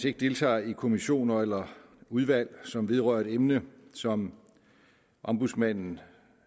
ikke deltager i kommissioner eller udvalg som vedrører et emne som ombudsmanden